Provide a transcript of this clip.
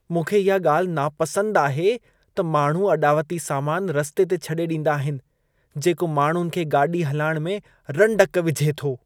मूंखे इहा ॻाल्हि नापसंद आहे त माण्हू अॾावती सामान रस्ते ते छॾे ॾींदा आहिन जेको माण्हुनि खे ॻाॾी हलाइण में रंडक विझे थो।